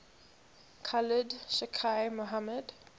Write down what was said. khalid sheikh mohammed